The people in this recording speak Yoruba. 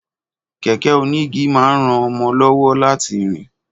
Kẹ̀kẹ́ onígi máa ń ran mọ lọ́wọ́ láti rìn